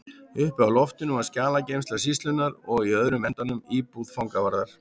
Uppi á loftinu var skjalageymsla sýslunnar og í öðrum endanum íbúð fangavarðar.